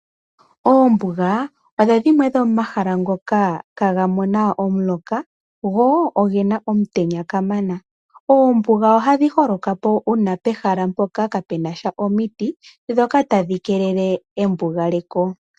Oombuga odho dhimwe dho momahala ngoka kaga mona omuloka, go ogena omutenya kamana. Oombuga oha dhi holoka po uuna pehala mpoka kaapena sha omiti ndhoka tadhi keelele embugaleko.